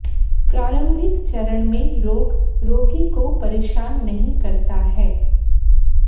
प्रारंभिक चरण में रोग रोगी को परेशान नहीं करता है